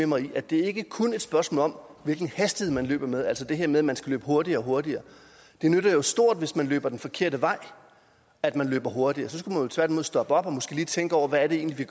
mig i at det ikke kun er et spørgsmål om hvilken hastighed man løber med altså det her med at man skal løbe hurtigere og hurtigere det nytter jo stort hvis man løber den forkerte vej at man løber hurtigere så skulle man jo tværtimod stoppe op og måske lige tænke over hvad det egentlig